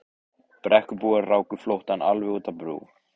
Brekkubúar ráku flóttann alveg út á brú.